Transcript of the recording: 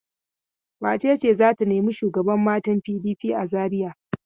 Wace ce za ta nemi shugaban matan PDP a Zariya?